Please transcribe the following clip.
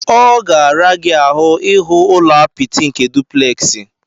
Ọ ga-ara gị ahu ihu ụlọ apịtị nke dupleksi.